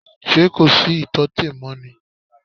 Ṣé kò sí ìtọ́tè mọ́ ni?